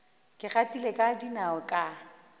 ke gatile ka dinao ka